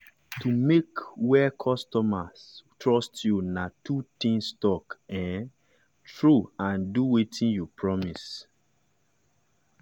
to make wey customers trust you na two things talk um true and do wetin you promise.